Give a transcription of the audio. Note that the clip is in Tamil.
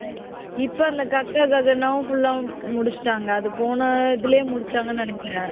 இப்ப அந்த ka kha ga gha gna வும் full அ முடிச்சிட்டாங்க அது போன இதுலயே முடிச்சாங்கன்னு நினைக்கிறேன்.